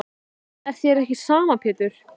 En þér er ekki sama Pétur.